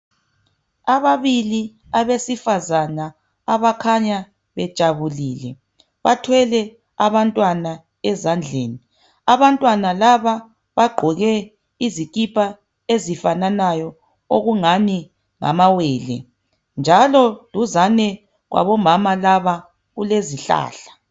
Ababili abesifazane abakhanya bejabulile bathwele abantwana ezandleni, abantwana laba bagqoke izikipa ezifananayo okungani ngamawele njalo duzane kwabomama laba kulezihlahla